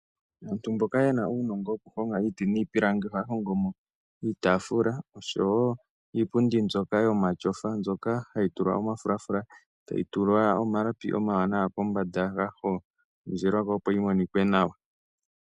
Aantu mboka ye na uunongo woku honga iiti niipilangi, ohaya hongo mo iitafula oshowo iipundi mbyoka yomatyofa, mbyoka hayi tulwa omafulafula, e tayi tulwa omalapi omawanawa kombanda ga hondjelwa ko opo yi monikwe nawa.